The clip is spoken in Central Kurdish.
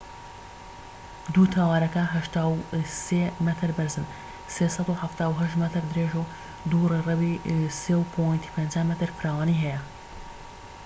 دوو تاوەرەکە 83 مەتر بەرزن 378 مەتر درێژە و دوو ڕێڕەوی 3.50 مەتر فراوانی هەیە